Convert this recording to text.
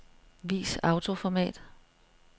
Vis autoformat.